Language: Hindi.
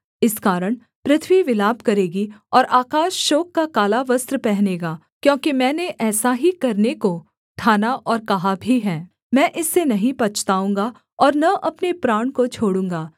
इस कारण पृथ्वी विलाप करेगी और आकाश शोक का काला वस्त्र पहनेगा क्योंकि मैंने ऐसा ही करने को ठाना और कहा भी है मैं इससे नहीं पछताऊँगा और न अपने प्राण को छोड़ूँगा